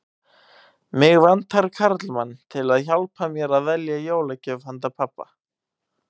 Mig vantar karlmann til að hjálpa mér að velja jólagjöf handa pabba